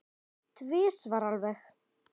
Tvisvar alveg.